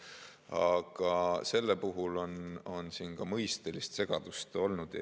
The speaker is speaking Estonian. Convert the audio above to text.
Aga selle eelnõu puhul on ka mõistelist segadust olnud.